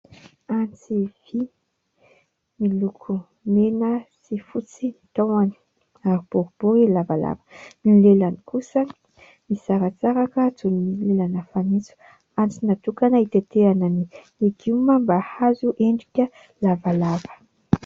Antsy vỳ miloko mena sy fotsy ny tahony ary boribory lavalava. Ny lelany kosa misaratsaraka toy ny lelana fanitso. Antsy natokana itetehana ny legioma mba hahazo endrika lavalava.